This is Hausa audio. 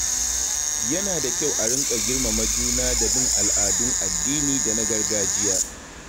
Yana da kyau a rinƙa girmama juna da bin al'adun addini da na gargajiya.